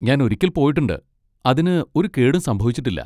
ഞാൻ ഒരിക്കൽ പോയിട്ടുണ്ട്, അതിന് ഒരു കേടും സംഭവിച്ചിട്ടില്ല.